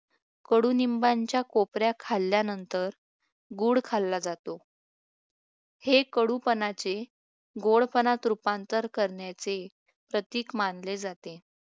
कडुनिंबाच्या खोकाऱ्या खाल्ल्यानंतर गुळ खाल्ला जातो हे कडूपणाचे गोड पणात रूपांतर करण्याचे प्रतीक मानले जाते